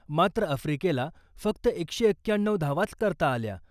मात्र आफ्रिकेला फक्त एकशे एक्क्याण्णऊ धावाच करता आल्या .